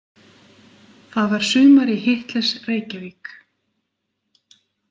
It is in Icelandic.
Það var sumar í Hitlers- Reykjavík.